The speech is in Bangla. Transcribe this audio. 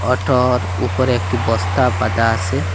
অটোর উপরে একটি বস্তা পাতা আসে।